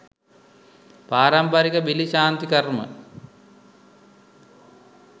පාරම්පරික බිලි ශාන්ති කර්ම